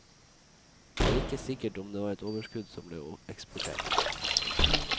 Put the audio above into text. Det er ikke sikkert om det var et overskudd som ble eksportert.